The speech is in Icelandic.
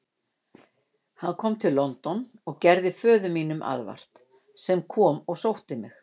Hann kom til London og gerði föður mínum aðvart, sem kom og sótti mig.